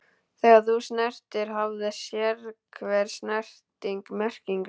Þegar þú snertir hafði sérhver snerting merkingu.